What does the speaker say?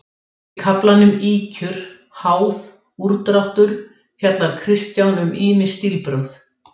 Í kaflanum Ýkjur, háð, úrdráttur fjallar Kristján um ýmis stílbrögð.